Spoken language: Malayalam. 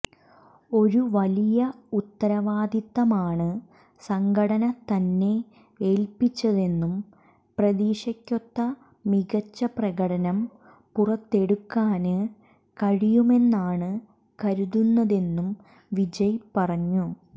ഒരു വലിയ ഉത്തരിവാദിത്തമാണ് സംഘടന തന്നെ ഏല്പ്പിച്ചതെന്നും പ്രതീക്ഷയ്ക്കൊത്ത മികച്ച പ്രകടനം പുറത്തെടുക്കാന് കഴിയുമെന്നാണ് കരുതുന്നതെന്നും വിജയ് പറഞ്ഞു